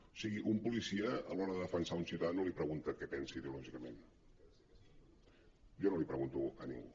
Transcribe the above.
o sigui un policia a l’hora de defensar un ciutadà no li pregunta què pensa ideològicament jo no l’hi pregunto a ningú